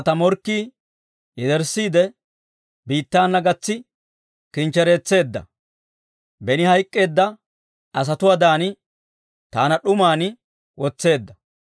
Taana ta morkkii yederssiide, biittaana gatsi kinchchereetseedda; beni hayk'k'eedda asatuwaadan taana d'uman wotseedda.